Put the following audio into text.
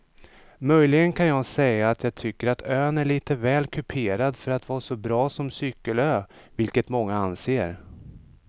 Möjligen kan jag säga att jag tycker att ön är lite väl kuperad för att vara så bra som cykelö vilket många anser.